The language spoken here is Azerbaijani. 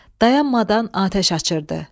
Dayanmadan atəş açırdı.